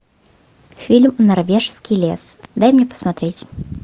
фильм норвежский лес дай мне посмотреть